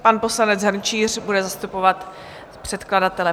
Pan poslanec Hrnčíř bude zastupovat předkladatele.